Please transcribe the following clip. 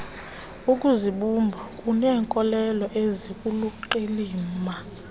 ukuzibumba uneenkolelo eziluqilima